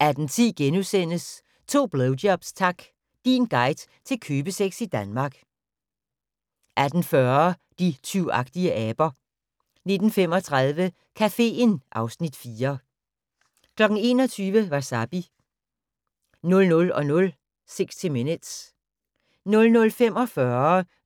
18:10: To blowjobs tak! Din guide til købesex i Danmark. * 18:40: De tyvagtige aber 19:35: Caféen (Afs. 4) 21:00: Wasabi 00:00: 60 Minutes 00:45: